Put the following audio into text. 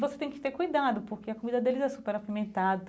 Você tem que ter cuidado, porque a comida deles é super apimentada.